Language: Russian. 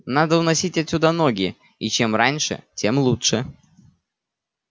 надо уносить отсюда ноги и чем раньше тем лучше